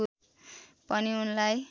पनि उनलाई